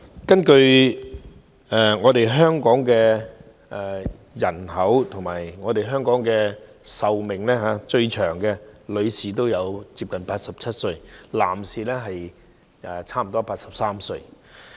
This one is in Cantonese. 根據香港的人口壽命數字，女性的平均壽命為接近87歲，男士則接近83歲。